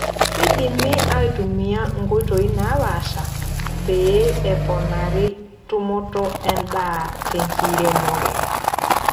Keidimi aitumia nkoitoi naapasha pee eponari tumoto endaa tenkiremore.